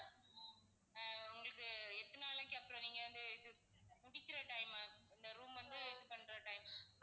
ஆஹ் உங்களுக்கு எத்தனை நாளைக்கு அப்பறம் நீங்க வந்து முடிக்கிற time இந்த room வந்து vacate பண்ற time